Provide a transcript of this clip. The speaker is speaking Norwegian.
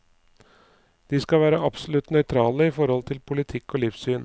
De skal være absolutt nøytrale i forhold til politikk og livssyn.